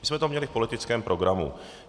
My jsme to měli v politickém programu.